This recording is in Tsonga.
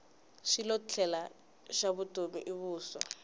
xilotlela xa vutomi i vuswa